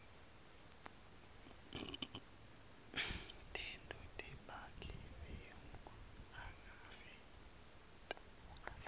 tento tebugebengu ungaveti